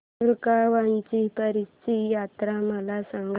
दुगावची पीराची यात्रा मला सांग